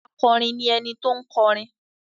Akọrin ni ẹni tó ń kọrin.